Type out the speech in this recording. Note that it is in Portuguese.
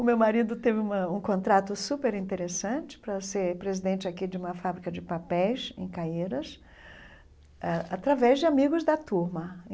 O meu marido teve uma um contrato superinteressante para ser presidente aqui de uma fábrica de papéis em Caíras, a através de amigos da turma.